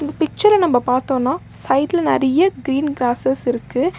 பிக்சர்ர நம்ப பாத்தோனா சைடுல நெறைய கிரீன் கிராஸ்ஸஸ் இருக்கு.